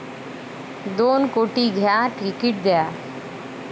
दोन कोटी द्या, तिकीट घ्या!